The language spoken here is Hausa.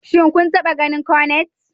Shin kun taɓa ganin Cornet?